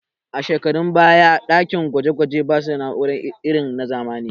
A shekarun baya ɗakin gwaje gwaje ba su da na'ura irin na zamani